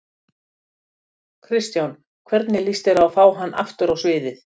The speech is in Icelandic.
Kristján: Hvernig lýst þér á að fá hann aftur á sviðið?